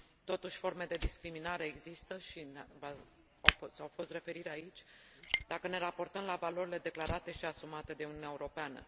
Totuși, forme de discriminare există și au fost referiri aici, dacă ne raportăm la valorile declarate și asumate de Uniunea Europeană.